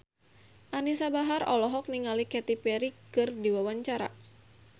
Anisa Bahar olohok ningali Katy Perry keur diwawancara